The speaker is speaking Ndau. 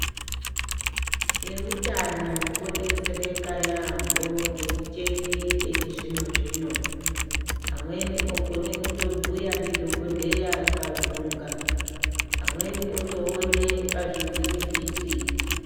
Eutano odetsereka yamho ngemicheni yechizvinozvino amweni okone kutobhuya ndidhokodheya paruthlunga amweni otoone pazvivhitivhiti.